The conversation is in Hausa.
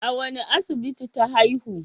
A wane asibiti ta haihu?